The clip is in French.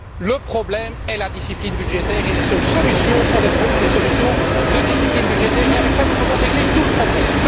Le problème est la discipline budgétaire et les seules solutions sont des solutions de discipline budgétaire, et nous aurons ainsi réglé tout le problème.